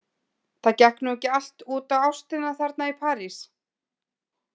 Það gekk nú ekki allt út á ástina þarna í París.